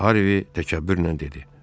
Harvi təkəbbürlə dedi.